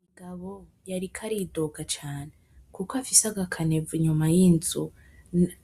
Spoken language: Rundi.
Umugabo yariko aridoga cane kuko afise agakanevo inyuma y,inzu